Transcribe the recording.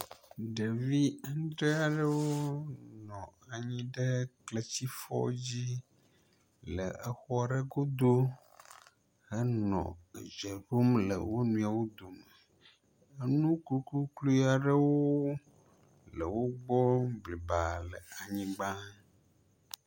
ɖevi andre aɖewo nɔ anyi ɖe kleti fɔ dzi le ekpɔ ɖe godó henɔ edzeɖom le woniɔwo dome enu kukukluaɖewo le.wógbɔ blibaa le anyigbã